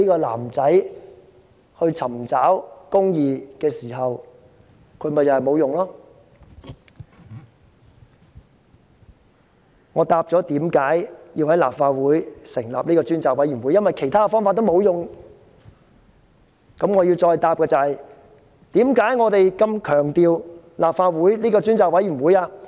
我剛剛解釋了為何要在立法會成立專責委員會，原因是其他渠道全部無效。我接着要解釋我們何以如此看重立法會這個專責委員會。